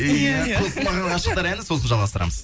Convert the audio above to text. иә қосылмаған ғашықтар әні сосын жалғастырамыз